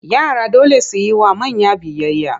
Yara dole su yi wa manya biyayya.